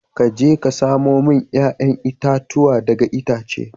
Ka je ka samo mini 'ya'yan itatuwa daga itacen